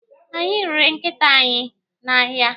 Anyị rere nkịta anyị n'ahịa.